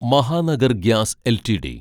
Mahanagar gas LTD